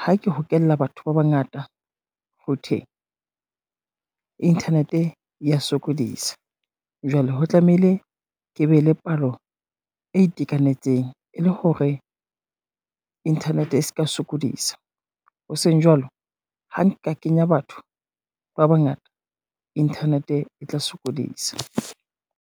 ha ke hokella batho ba bangata ho thwe, internet e ya sokodisa, jwale ho tlamehile ke be le palo e itekanetseng e le hore internet e ska sokodisa. Hoseng jwalo ha nka kenya batho ba bangata internet e tla sokodisa.